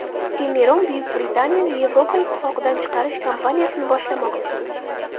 Kemeron Buyuk Britaniyani Yevroittifoqdan chiqarish kampaniyasini boshlamoqchi.